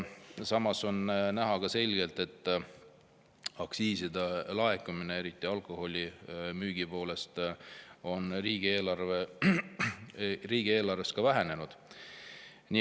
Samas on ka selgelt näha, et aktsiiside laekumine, eriti alkoholimüügist, on riigieelarves vähenenud.